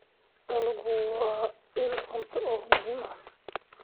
Dalaggu waa il cunto oo muhiim ah.